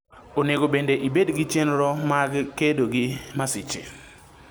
Onego bende ibedgi chenro mag kedo gi masiche.